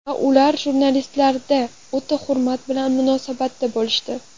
Va ular jurnalistlarga o‘ta hurmat bilan munosabatda bo‘lishdi.